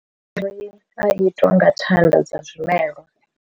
A itwa nga thanda dza zwimelwa.